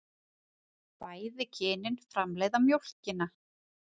Bæði kynin framleiða mjólkina.